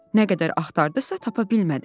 Nə qədər axtardısa, tapa bilmədi.